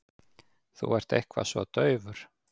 Þú ert eitthvað svo daufur.